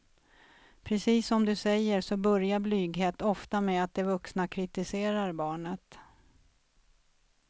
Precis som du säger så börjar blyghet ofta med att de vuxna kritiserar barnet.